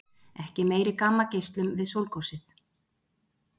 Ekki meiri gammageislun við sólgosið